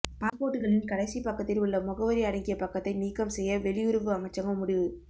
பாஸ்போர்ட்டுகளின் கடைசி பக்கத்தில் உள்ள முகவரி அடங்கிய பக்கத்தை நீக்கம் செய்ய வெளியுறவு அமைச்சகம் முடிவு